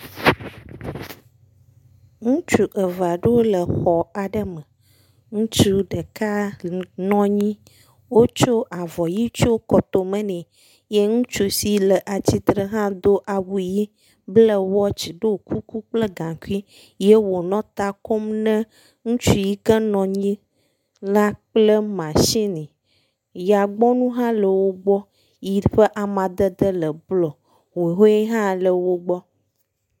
Ŋutsu eve aɖewo le exɔ aɖe me, ŋutsu ɖeka nɔ anyi, wotsɔ avɔ ʋɛ̃ tsyɔ ekɔtome, ye ŋutsu si le atsitre hã do awu ʋɛ̃, ble wɔtsi, ɖɔ gaŋkui kple gaŋkui ye wònɔ ta kom ne ŋutsu yika nɔ anyi la kple matsini. Yagbɔnu hã le wo gbɔ, yi ƒe amadede le blɔ, wowoe hã le wo gbɔ.